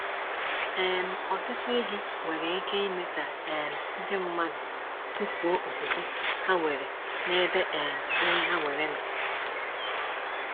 um Ọtụtụ ihe nwere ike ime ka um ndị mmadụ tufuo okwukwe ha nwere n'ebe um ihe ha nwere nọ.